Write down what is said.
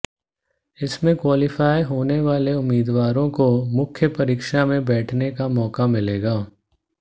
इसमें क्वालिफाई होने वाले उम्मीदवारों को मुख्य परीक्षा में बैठने का मौका मिलेगा